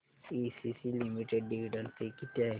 ACC limited dividend pay किती आहे